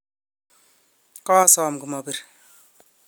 koasom komabir